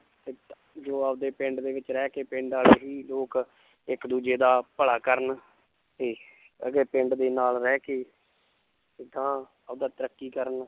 ਜੋ ਆਪਦੇ ਪਿੰਡ ਦੇ ਵਿੱਚ ਰਹਿ ਕੇ ਪਿੰਡ ਵਾਲੇ ਹੀ ਲੋਕ ਇੱਕ ਦੂਜੇ ਦਾ ਭਲਾ ਕਰਨ ਤੇ ਪਿੰਡ ਦੇ ਨਾਲ ਰਹਿ ਕੇ ਆਪਦਾ ਤਰੱਕੀ ਕਰਨ